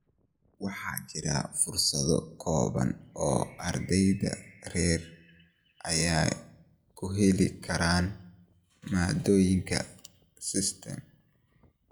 Waxaa jira fursado kooban oo ardayda rer ay ku heli karaan maadooyinka STEM.